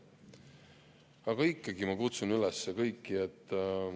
Aga ikkagi, ma kutsun üles kõiki.